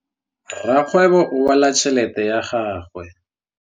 Rakgwêbô o bala tšheletê ya gagwe.